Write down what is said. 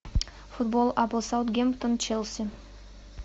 футбол апл саутгемптон челси